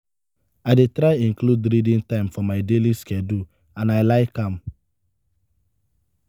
i dey try include reading time for my daily schedule and i like am.